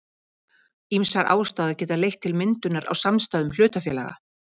Ýmsar ástæður geta leitt til myndunar á samstæðum hlutafélaga.